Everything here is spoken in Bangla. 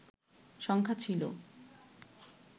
সংখ্যা ছিল